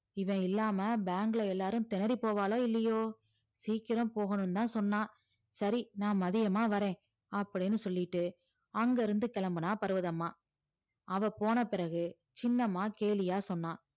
இவன் இல்லாம bank ல எல்லாரும் திணறி போவாளோ இல்லையோ சீக்கிரம் போகணும்னுதான் சொன்னான் சரி நான் மதியமா வர்றேன் அப்படின்னு சொல்லிட்டு அங்கிருந்து கிளம்பினா பர்வதம்மா அவ போன பிறகு சின்னம்மா கேலியா சொன்னா